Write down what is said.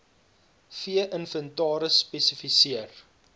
vee inventaris spesifiseer